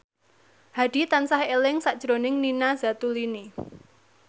Hadi tansah eling sakjroning Nina Zatulini